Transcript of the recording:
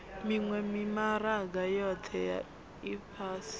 miwe mimaraga yohe ya ifhasi